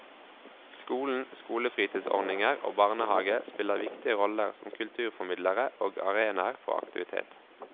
Skolen, skolefritidsordninger og barnehage spiller viktige roller som kulturformidlere og arenaer for aktivitet.